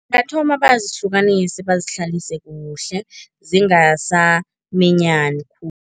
Bathoma bazihlukanise, bazihlalise kuhle, zingasaminyani khulu.